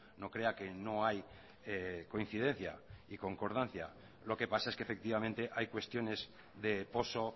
no crea que no hay coincidencia y concordancia lo que pasa es que efectivamente hay cuestiones de poso